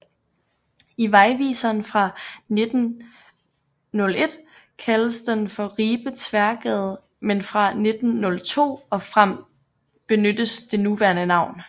I vejviseren fra 1901 kaldes den for Ribe Tværgade men fra 1902 og frem benyttes det nuværende navn